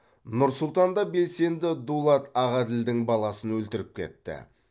нұр сұлтанда белсенді дулат ағаділдің баласын өлтіріп кетті